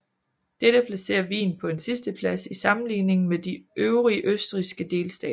Dette placerer Wien på en sidsteplads i sammenligning med de øvrige østrigske delstater